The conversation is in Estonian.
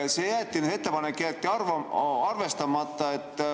See ettepanek jäeti arvestamata.